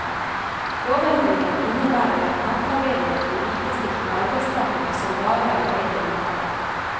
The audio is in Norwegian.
Lovendringen innebærer at nattarbeidere blir likestilt med arbeidstagere som bare arbeider om dagen.